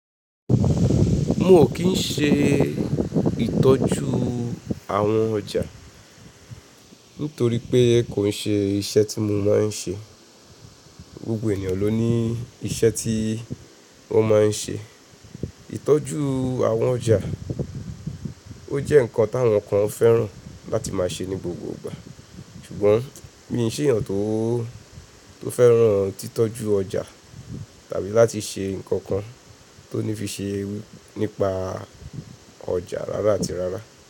Mo ò kí n ṣe ìtọ́jú àwọn ọjà nítorí pé kò n ṣe iṣẹ́ tí mo máa n ṣe. Gbogbo ènìyàn ló ní iṣẹ́ tí wọ́n máa n ṣe. Ìtọ́jú àwọn ọjà, ó jẹ́ nǹkan táwọn kan fẹ́ràn láti máa ṣe ní gbogbo ìgbà. Ṣùgbọ́n mi ò ṣe ènìyàn tó fẹ́ràn títọ́jú ọjà tàbí láti ṣe nǹkan kan tó ní fi ṣe nípa ọjà rárá àti rárá.